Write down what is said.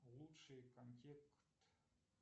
лучший контект